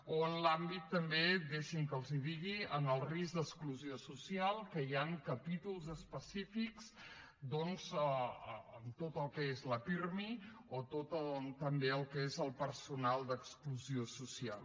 o en l’àmbit també deixin me que els ho digui en el risc d’exclusió social que hi han capítols específics doncs en tot el que és la pirmi o en tot el que és també el personal d’exclusió social